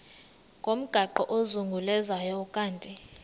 ngomgaqo ozungulezayo ukanti